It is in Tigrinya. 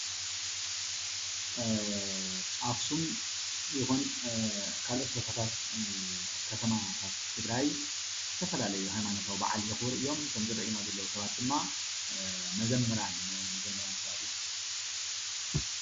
ኣኽሱም ይኹን ካልኦት ከተማታት ትግራይ ዝተፈላለየ ሃይማኖቲዊ በዓል የኽብሩ እዮም። እቶም ዝረእዩና ዘለዉ ሰባት ድማ መዘምራን እዮም።